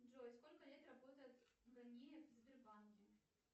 джой сколько лет работает ганиев в сбербанке